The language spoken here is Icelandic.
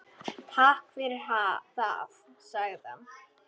Takk fyrir það- sagði hann.